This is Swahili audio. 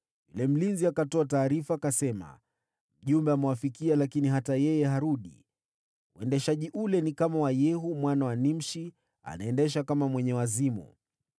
Yule mlinzi akatoa taarifa akasema, “Mjumbe amewafikia, lakini hata yeye harudi. Uendeshaji ule ni kama wa Yehu mwana wa Nimshi, anaendesha kama mwenye wazimu!”